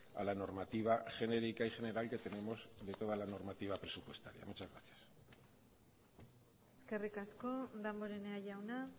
a la normativa genérica y general que tenemos de toda la normativa presupuestaria muchas gracias eskerrik asko damborenea jauna